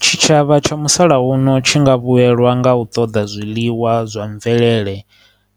Tshitshavha tsha musalauno tshi nga vhuyelwa nga u ṱoḓa zwiḽiwa zwa mvelele,